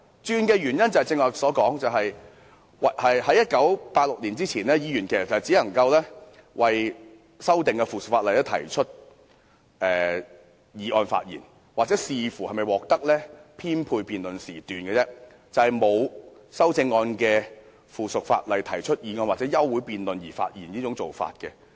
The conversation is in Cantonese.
正如我剛才也說過，在1986年前，議員只能就修訂附屬法例動議議案發言，又或視乎是否獲得編配辯論時段，但並無讓議員就沒有修正案的附屬法例進行辯論或發言的做法。